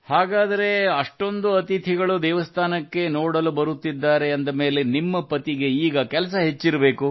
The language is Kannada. ಹಾಗಾದರೆ ಅಷ್ಟೊಂದು ಅತಿಥಿಗಳು ದೇವಸ್ಥಾನಕ್ಕೆ ನೋಡಲು ಬರುತ್ತಿದ್ದಾರೆ ಅಂದ ಮೇಲೆ ನಿಮ್ಮ ಪತಿಗೆ ಈಗ ಕೆಲಸ ಹೆಚ್ಚಿರಬೇಕು